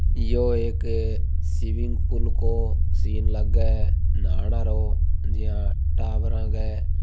यो एक swimming pool को scene लागे नहाणा रो जिया टाबरा को।